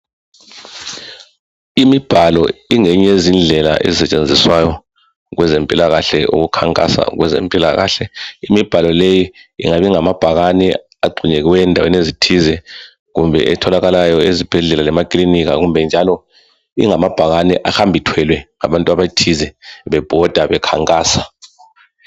Imibhalo ingeyinye yezindlela ezisetshenziswayo ukukhankasa kwezempilakahle . Imibhalo leyi ingabe ingamabhakane agxunyeliweyo endaweni ezithize kumbe etholakalayo ezibhedlela lemakilinika kumbe njalo ingamabhakane ahamba ethwelwe ngabantu abathize bebhoda bekhankasa.